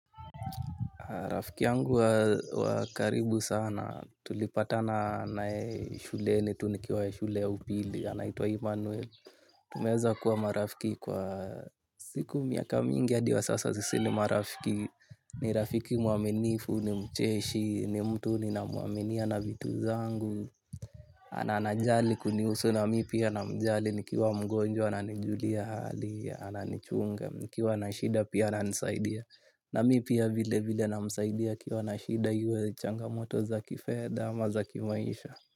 Rafiki yangu wa karibu sana, tulipata na yeye shuleni, tu nikiwa shule ya upili, anaitwa Immanuel. Tumeeza kuwa marafiki kwa siku miaka mingi hadi wa sasa sisi ni marafiki. Ni rafiki muaminifu, ni mcheshi, ni mtu nina muaminia na vitu zangu. Ana anajali kunihusu na mipia namjali, nikiwa mgonjwa, ananijulia hali, ananichunga, nikiwa nashida, pia ananisaidia. Na mipia vile vile namsaidia akiwa na shida yuwe changamoto za kifedha ama za kimaisha.